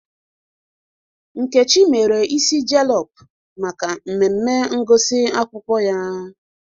Nkechi mere ịsị jelọp maka mmemme ngụsị akwụkwọ ya